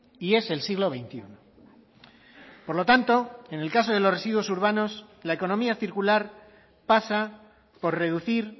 y es el siglo veintiuno por lo tanto en el caso de los residuos urbanos la economía circular pasa por reducir